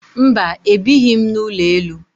Mba, ebighị m n'ụlọ elu